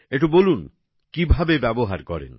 একটু বলুন কিভাবে ব্যবহার করেন